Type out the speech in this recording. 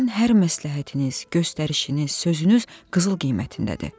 Sizin hər məsləhətiniz, göstərişiniz, sözünüz qızıl qiymətindədir.